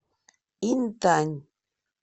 интань